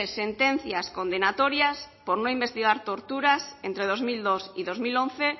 sentencias condenatorias por no investigar torturas entre dos mil dos y dos mil once